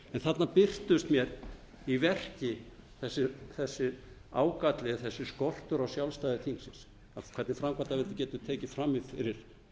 þarna birtist mér í verki þessi ágalli eða þessi skortur á sjálfstæði þingsins hvernig framkvæmdarvaldið getur tekið fram í fyrir